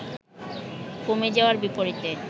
কমে যাওয়ার বিপরীতে